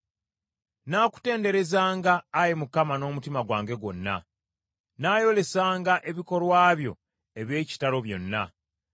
Nnaakutenderezanga, Ayi Mukama n’omutima gwange gwonna; nnaayolesanga ebikolwa byo eby’ekitalo byonna.